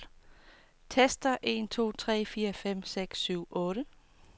Tester en to tre fire fem seks syv otte.